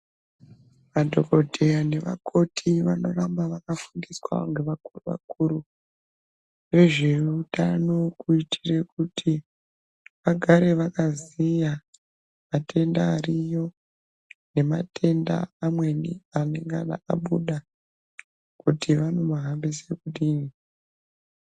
Madhokodheya nevakoti vanoramba vakafundiswa kubva kuvakuri vezveutano kuitira kuti vagare vakaziya matenda ariyo nematenda amweni anengana abuda kuti vanomahambise kudini.